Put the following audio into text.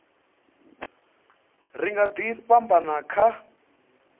ri nga ḓi fhambana kha